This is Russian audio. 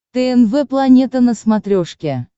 тнв планета на смотрешке